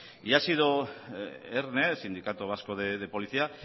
y ha sido erne el sindicato vasco de policía